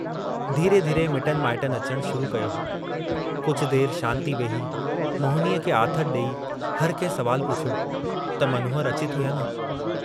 धीरे-धीरे मिटनि माइटनि अचणु शुरू कयो हो, कुझ देर शांति वेही, मोहिनीअ खे आथतु डेई हरकंहिं सुवालु पुछियो त मनोहर अचे थो या न?